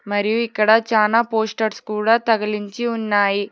మరియు ఇక్కడ చానా పోస్టర్స్ కూడా తగిలించి ఉన్నాయి.